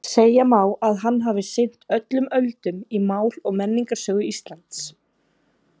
Segja má að hann hafi sinnt öllum öldum í mál- og menningarsögu Íslands.